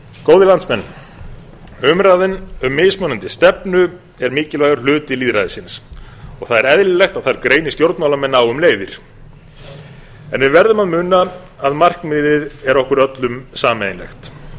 góðir landsmenn umræðan um mismunandi stefnu er mikilvægur hluti lýðræðisins og það er eðlilegt að þar greini stjórnmálamenn á um leiðir en við verðum að muna að markmiðið er okkur öllum sameiginlegt